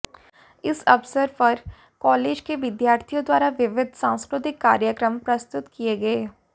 इस अवसर पर कालेज के विद्यार्थियों द्वारा विविध सांस्कृतिक कार्यक्रम प्रस्तुत किए गए